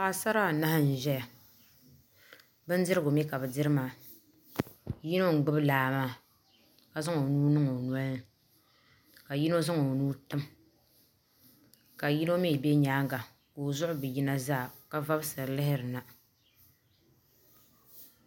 paɣisara anahi n-ʒɛya bindirgu mi ka bɛ diri maa yino n-gbubi laa maa ka zaŋ o nuu niŋ o noli ni ka yino zaŋ o nuu tim ka yino mi be nyaanga ka o zuɣu bi yina zaa ka vɔbisiri lihirina